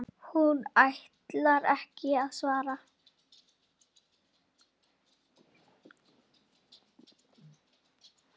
Hún ætlar ekki að svara.